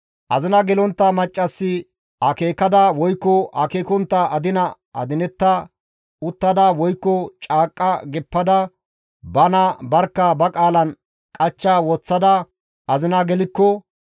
«Azina gelontta maccassi akeekada woykko akeekontta adina adinetta uttada woykko caaqqa geppada bana barkka ba qaalan qachcha woththada azina gelikko,